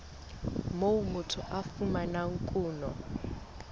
moo motho a fumanang kuno